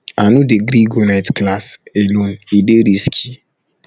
i no dey gree go night class um alone e dey risky risky